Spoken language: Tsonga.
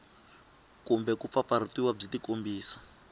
kumbe ku pfapfarhutiwa byi tikombisa